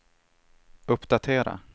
uppdatera